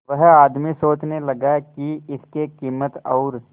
वह आदमी सोचने लगा की इसके कीमत और